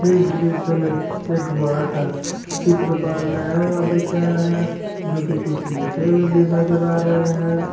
इस दृश्य में एक बड़ा सा चित्र बनाया हुआ दिख रहा है जो कि कुछ लिखे हुए भी नजर आ रहे हैं।